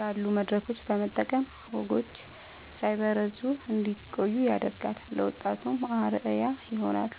ያሉ መድረኮችን በመጠቀም ወጎች ሳይበረዙ እንዲቆዩ ያደርጋሉ፤ ለወጣቱም አርአያ ይሆናሉ።